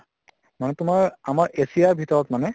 মানে তোমাৰ আমাৰ asia ৰ ভিতৰত মানে